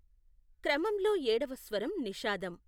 క్రమంలో ఏడవ స్వరం నిషాదం.